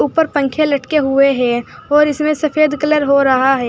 ऊपर पंखे लटके हुए हैं और इसमें सफेद कलर हो रहा है।